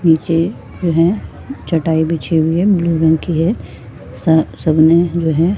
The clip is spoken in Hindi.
निचे जो है चटाई बिछी हुई है ब्लू रंग की है सब सबने वह--